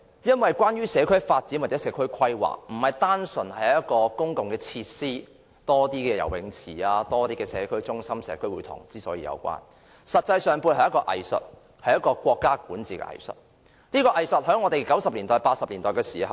因為社區發展和社區規劃並非單純是增加公共設施，多建一些游泳池、社區中心和社區會堂等，而實際上，其背後是一門藝術，是管治的藝術，這藝術在八九十年代時最為明顯。